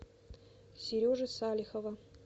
сережи салихова